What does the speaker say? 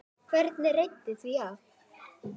Hvernig reiddi því af?